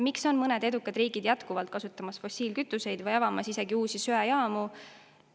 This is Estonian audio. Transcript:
Miks mõned edukad riigid kasutavad jätkuvalt fossiilkütuseid või avavad isegi uusi söejaamu?